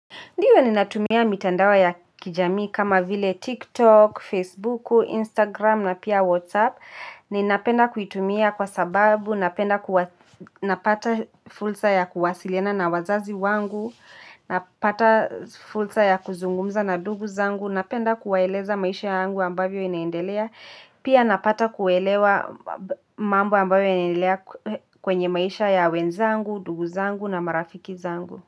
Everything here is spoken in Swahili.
Ndio ni natumia mitandao ya kijami kama vile TikTok, Facebook, Instagram na pia WhatsApp. Ninapenda kuitumia kwa sababu, napenda napata fulsa ya kuwasiliana na wazazi wangu, napata fulsa ya kuzungumza na ndugu zangu, napenda kuwaeleza maisha yangu ambavyo inaendelea. Pia napata kuelewa mambo ambavyo inaendelea kwenye maisha ya wenzangu, ndugu zangu na marafiki zangu.